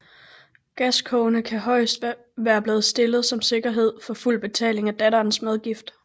Gascogne kan højest være blevet stillet som sikkerhed for fuld betaling af datterens medgift